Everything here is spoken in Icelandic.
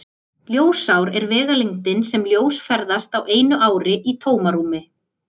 Ljósár er vegalengdin sem ljós ferðast á einu ári í tómarúmi.